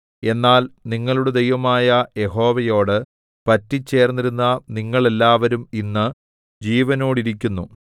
എന്നാൽ നിങ്ങളുടെ ദൈവമായ യഹോവയോട് പറ്റിച്ചേർന്നിരുന്ന നിങ്ങൾ എല്ലാവരും ഇന്ന് ജീവനോടിരിക്കുന്നു